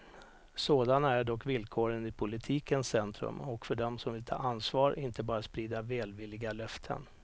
Sådana är dock villkoren i politikens centrum och för dem som vill ta ansvar, inte bara sprida välvilliga löften.